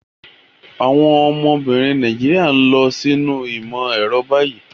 Àwọn obìnrin Nàìjíríà ń lọ sínú ìmọ̀ ẹ̀rọ báyìí.